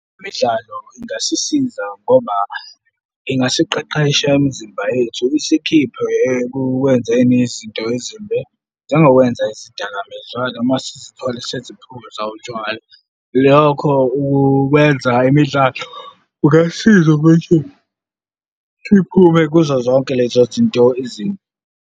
Imidlalo ingasisiza ngoba ingasiqeqesha imizimba yethu. Isikhiphe ekukwenzeni izinto ezimbi, njengokwenza izidakamizwa noma zizithole seziphuza utshwala. Lokho ukwenza imidlalo kungasiza ukuthi siphume kuzo zonke lezo zinto ezimbi.